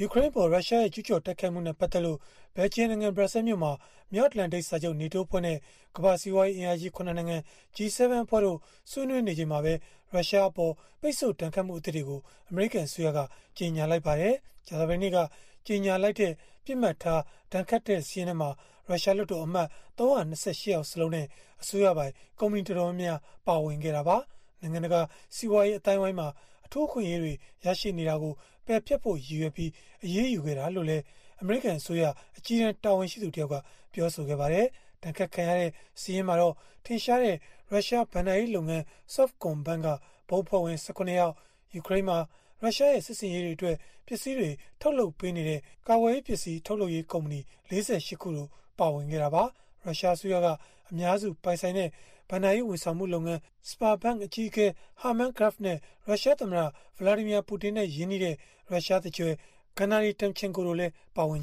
ူကရိန်းအပေါ် ရုရှားကျုးကျော်တိုက်ခိုက်မှုနဲ့ ပတ်သက်လို့ ဘယ်လ်ဂျီယံနိုင်ငံ၊ ဘရပ်ဆဲလ်မြို့မှာ မြောက်အတ္တလန်တိတ်စာချုပ် (NATO) အဖွဲ့နဲ့ ကမ္ဘာ့စီးပွားရေးအင်အားကြီး ၇ နိုင်ငံ G-7 အဖွဲ့တို့ ဆွေးနွေးနေချိန်မှာပဲ ရုရှားအပေါ် ပိတ်ဆို့ဒဏ်ခတ်မှုသစ်တွေကို အမေရိကန်အစိုးရက ကြေညာလိုက်ပါတယ်။ ကြာသပတေးနေ့က ကြေညာလိုက်တဲ့ ပစ်မှတ်ထား ဒဏ်ခတ်ခံရတဲ့ စာရင်းထဲမှာ ရုရှားလွှတ်တော်အမတ် ၃၂၈ ယောက်စလုံးနဲ့ အစိုးရပိုင် ကုမ္ပဏီတော်တော်များများ ပါဝင်ခဲ့တာပါ။ နိုင်ငံတကာ စီးပွားရေး အသိုင်းအဝိုင်းမှာ အထူးအခွင့်အရေး ရရှိနေတာတွေကို ပယ်ဖျက်ဖို့ ရည်ရွယ်ပြီး အရေးယူခဲ့တာလို့လည်း အမေရိကန် အစိုးရ အကြီးတန်း တာဝန်ရှိသူတယောက်က ပြောပါတယ်။ ဒဏ်ခတ်ခံရတဲ့ စာရင်းမှာတော့ ထင်ရှားတဲ့ ရုရှားဘဏ္ဍာရေးလုပ်ငန်း Sovcombank က ဘုတ်အဖွဲ့ဝင် ၁၇ ယောက်၊ ယူကရိန်းမှာ ရုရှားရဲ့ စစ်ဆင်ရေးတွေအတွက် ပစ္စည်းတွေ ထုတ်လုပ်ပေးနေတဲ့ ကာကွယ်ရေးပစ္စည်း ထုတ်လုပ်ရေး ကုမ္ပဏီ ၄၈ ခုတို့ ပါဝင်ခဲ့တာပါ။ ရုရှားအစိုးရက အများစုပိုင်ဆိုင်တဲ့ ဘဏ္ဍာရေး ဝန်ဆောင်မှုလုပ်ငန်း Sberbank အကြီးအကဲ Herman Gref နဲ့ ရုရှားသမ္မတ Vladimir Putin နဲ့ ရင်းနှီးတဲ့ ရုရှားသူကြွယ် Gennady Timchenko တို့လည်း ပါဝင်ပါ